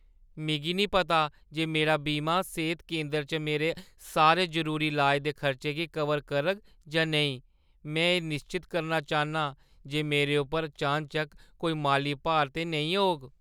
मिगी निं पता जे मेरा बीमा सेह्‌त केंदर च मेरे सारे जरूरी लाज दे खर्चे गी कवर करग जां नेईं। में एह् निश्चत करना चाह्न्नां जे मेरे उप्पर चानचक्क कोई माली भार ते नेईं होग।